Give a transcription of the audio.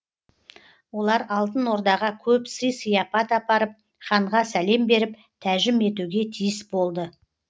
олар алтын ордаға көп сый сияпат апарып ханға сәлем беріп тәжім етуге тиіс болды